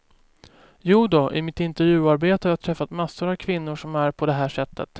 Jodå, i mitt intervjuarbete har jag träffat massor av kvinnor som är på det här sättet.